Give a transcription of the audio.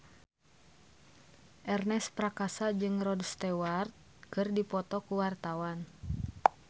Ernest Prakasa jeung Rod Stewart keur dipoto ku wartawan